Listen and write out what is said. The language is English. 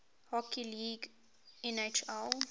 hockey league nhl